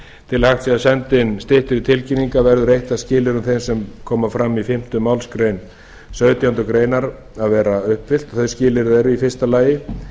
til að hægt sé að senda inn styttri tilkynningar verður eitt af skilyrðum þeim sem koma fram í fimmta málsgrein sautjándu grein að vera uppfyllt þau skilyrði eru í fyrsta lagi